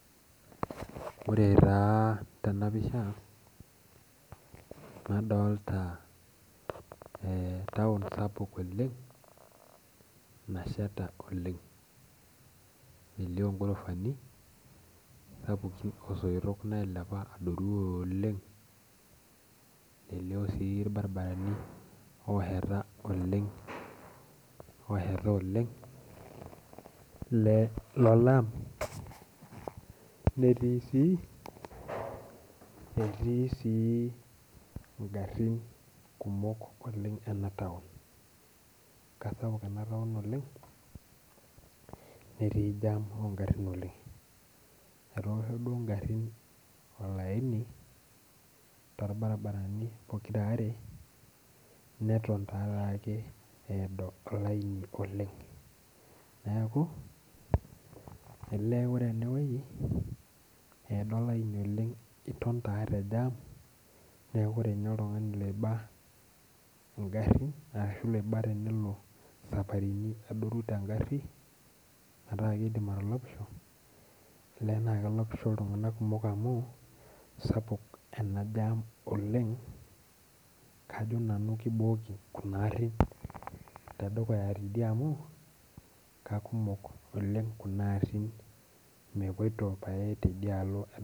Ore taa tenapisha nadolita taon sapuk oleng naasheta oleng ,elio ngorofani osoitok nailepa adoru oleng nelio sii irbaribarani osheta oleng lolaam ,netii sii ngarin kumok ena taon. keisapuk ena taon oleng nteii jaam ingarin oleng. etoosho duo ngarin olaini torbaribarani pokiraare neton take eedo olaini oleng, neeku ore eneweji eedo olaini oleng ,iton taa tejaam neeku ore ninye oltungani oiba nkarin ashu saparitin naado tengari metaa keidim atolopisho ,olee naa kelopisho iltunganak kumok amu sapuk ena jaam oleng kajo nanu kibooki Kuna arin tedukuya tidie amu keikumok Kuna arin nepoito pae tedukuya teidei